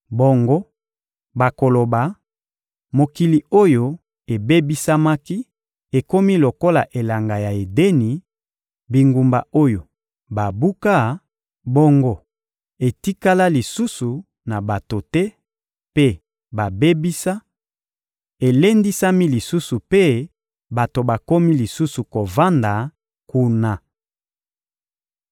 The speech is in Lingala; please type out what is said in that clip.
Bongo, bakoloba: ‘Mokili oyo ebebisamaki ekomi lokola elanga ya Edeni; bingumba oyo babuka, bongo etikala lisusu na bato te mpe babebisa, elendisami lisusu mpe bato bakomi lisusu kovanda kuna.’